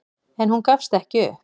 En hún gafst ekki upp.